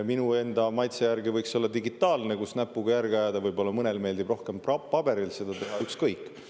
Minu enda maitse järgi võiks see olla digitaalne, kus näpuga järge ajada, võib-olla mõnele meeldib rohkem paberil seda teha, ükskõik.